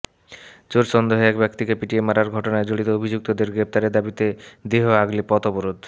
চোর সন্দেহে এক ব্যক্তিকে পিটিয়ে মারার ঘটনায় জড়িত অভিযুক্তদের গ্রেফতারের দাবিতে দেহ আগলে পথ অবরোধ